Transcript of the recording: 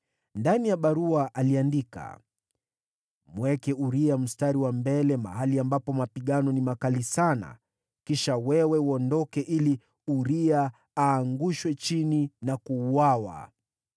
Ndani ya barua aliandika, “Mweke Uria mstari wa mbele mahali ambapo mapigano ni makali sana. Kisha wewe uondoke ili Uria aangushwe chini na kuuawa.”